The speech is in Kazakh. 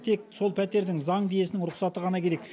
тек сол пәтердің заңды иесінің рұқсаты ғана керек